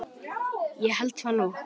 Ég held það nú!